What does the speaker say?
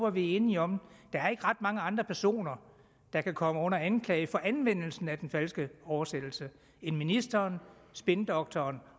at vi enige om der er ikke ret mange andre personer der kan komme under anklage for anvendelsen af den falske oversættelse end ministeren spindoktoren